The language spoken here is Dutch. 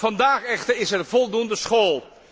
Vandaag echter is er voldoende schol.